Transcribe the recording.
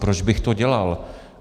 Proč bych to dělal?